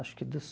Acho que dos